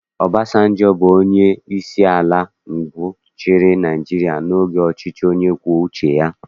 Obasanjọ bụ onyeisi ala mbụ chịrị Naịjirịa n'oge ọchịchị onye kwue uche ya